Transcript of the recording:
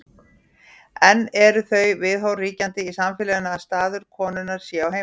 enn eru þau viðhorf ríkjandi í samfélaginu að staður konunnar sé á heimilinu